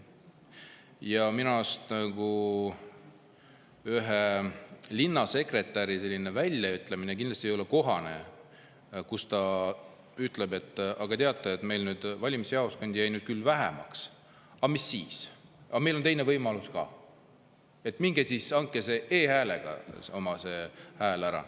Ja minu arust ühe linnasekretäri väljaütlemine kindlasti ei olnud kohane, kui ta ütles, et teate, meil nüüd valimisjaoskondi jääb küll vähemaks, aga mis siis – meil on teine võimalus ka, minge andke oma hääl e-hääletusega.